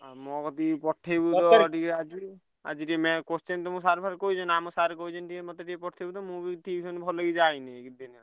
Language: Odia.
ଆଉ ମୋ କତିକି ପଠେଇବୁ ତ ଟିକେ ଆଜି। ଆଜି ଟିକେ ma'am question ତମୁକୁ sir ଫାର କହିଛନ୍ତି? ଆମ sir କହିଛନ୍ତି ଟିକେ ମତେ ଟିକେ ପଠେଇବୁ ତ ମୁଁ ବି tuition ଭଲ ଯାଇନି ବୁଝିପାଇଲୁ।